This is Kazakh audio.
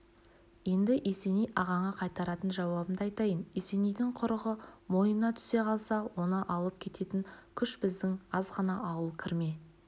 енді есеней ағаңа қайтаратын жауабымды айтайын есенейдің құрығы мойнына түсе қалса оны алып кететін күш біздің азғана ауыл кірме